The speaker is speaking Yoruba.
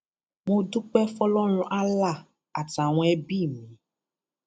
mo dúpẹ fọlọrun allah àtàwọn ẹbí mi